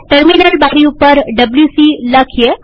terminal બારી ઉપર WC લખીએ